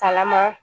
Kalaman